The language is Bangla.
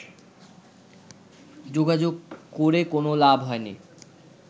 যোগাযোগ করে কোনো লাভ হয়নি